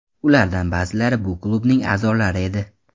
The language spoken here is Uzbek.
Ulardan ba’zilari bu klubning a’zolari edi.